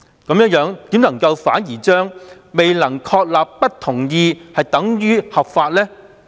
為何律政司反而將未能確立不同意等於合法呢？